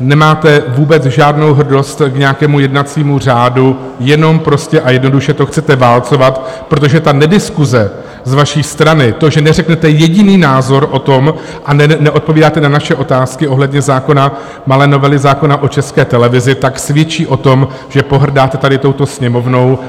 nemáte vůbec žádnou hrdost k nějakému jednacímu řádu, jenom prostě a jednoduše to chcete válcovat, protože ta nediskuse z vaší strany, to, že neřeknete jediný názor o tom a neodpovídáte na naše otázky ohledně zákona, malé novely zákona o České televizi, tak svědčí o tom, že pohrdáte tady touto Sněmovnou.